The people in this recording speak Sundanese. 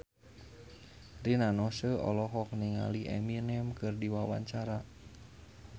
Rina Nose olohok ningali Eminem keur diwawancara